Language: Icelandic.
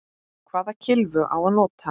Hvaða kylfu á að nota?